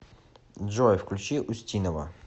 джой включи устинова